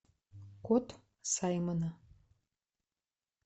кот саймона